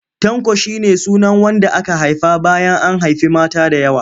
Tanko shi ne sunan wanda aka haifa bayan an haifi mata da yawa.